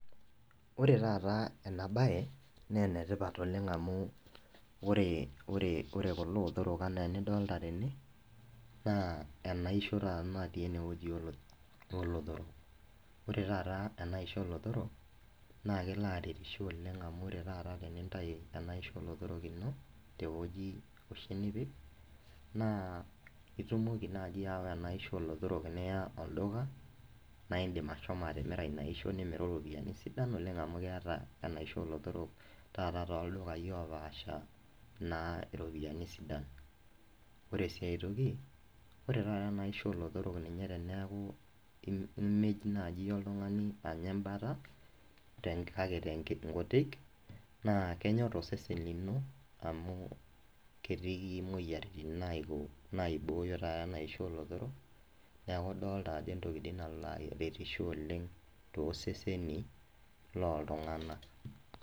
Ore taata ena bae naa enetipata oleng amu ore kulo otorok enaa enidolita tena naa enaisho taata natii eneweji, naa ore en aisho olotorok naa kelo aretisho oleng amu ore taata tenintayu enaisho oolotorok ino teweji oshi nipik naa itumoki naaji aawa enaisho olotorok niya olduka naa indim ashomo atimira ina aisho nimiru ropiyiani sidan oleng amu keeta taata enaisho olotorok toldukai oopasha iropiyiani, ore sii aitoki ore taataa ena aisho olotorok imej naji oltungani anya embata kake nkutik naa kenyor osesen lino amu ketii moyiaritin naibooyo taata ena aisho olotorok, neeku idolita ajo entoki naretisho oleng' tooseseni looltung'anak.